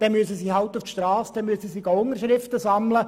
Dann muss diese Person halt auf der Strasse Unterschriften sammeln.